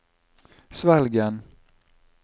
Svelgen